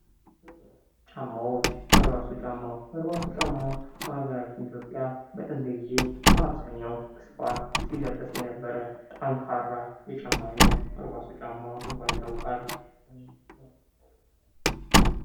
ጫማዎች ፦በርባሶ ጫማ ፦በርባሶ ጫማ በሀገራችን ኢትዮጵያ በጥንት ጊዜ በ አብዘሃኛው ስፍራ ሲለበስ የነበረ ጠንካራ የጫማ አይነት በርባሶ ጫማ በመባል ይታወቃል።